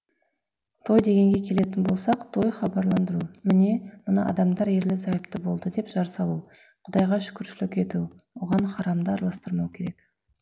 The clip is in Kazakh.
той дегенге келетін болсақ той хабарландыру міне мына адамдар ерлі зайыпты болды деп жар салу құдайға шүкіршілік ету оған харамды араластырмау керек